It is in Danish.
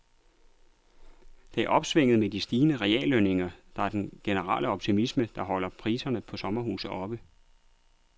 Det er opsvinget med de stigende reallønninger og den generelle optimisme, der holder priserne på sommerhuse oppe.